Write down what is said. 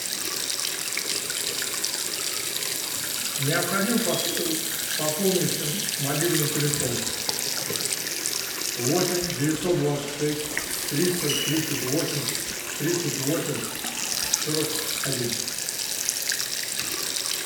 необходимо пополнить мобильный телефон восемь девятьсот двадцать шесть триста тридцать восемь тридцать восемь сорок один